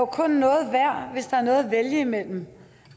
kun noget værd hvis der er noget at vælge mellem